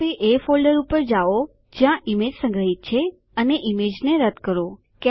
હવે એ ફોલ્ડર પર જાવ જ્યાં ઈમેજ સંગ્રહીત છે અને ઈમેજને રદ્દ કરો